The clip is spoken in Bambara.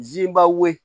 Ziba ye